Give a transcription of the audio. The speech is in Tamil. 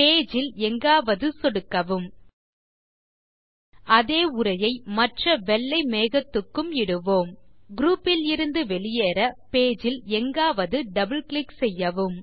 பேஜ் இல் எங்காவது சொடுக்கவும் அதே உரையை மற்ற வெள்ளை மேகத்துக்கும் இடுவோம் குரூப் இலிருந்து வெளியேற பேஜ் இல் எங்காவது இரட்டை சொடுக்கவும்